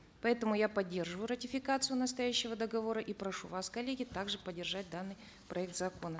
поэтому я поддерживаю ратификацию настоящего договора и прошу вас коллеги также поддержать данный проект закона